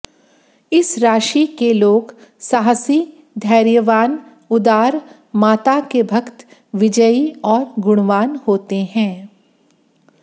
इस राशि के लोग साहसी धैर्यवान उदार माता के भक्त विजयी और गुणवान होते हैं